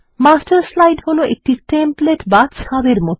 master slide হলো একটি template বা ছাঁদের মত